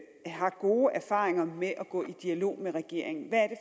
har gode erfaringer med at gå i dialog med regeringen hvad er